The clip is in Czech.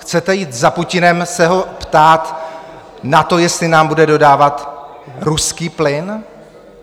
Chcete jít za Putinem se ho ptát na to, jestli nám bude dodávat ruský plyn?